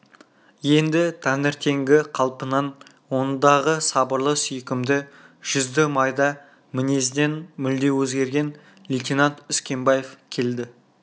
енді таңертеңгі қалпынан ондағы сабырлы сүйкімді жүзді майда мінезінен мүлде өзгерген лейтенант үскенбаев келді